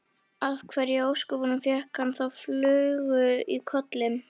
Af hverju í ósköpunum fékk hann þá flugu í kollinn?